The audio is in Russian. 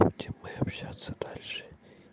будем мы общаться дальше